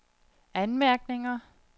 anmærkninger